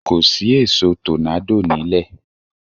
Kò sí èṣó tọ́nádò nílẹ̀